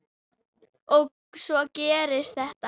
Og svo gerist þetta.